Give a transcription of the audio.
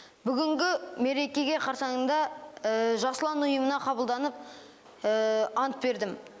бүгінгі мерекеге қарсаңында жас ұлан ұйымына қабылданып ант бердім